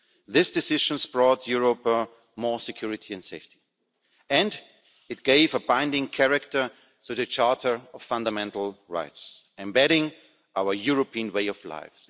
This decision has brought Europe more security and safety, and it gave a binding character to the Charter of Fundamental Rights, embedding our European way of life.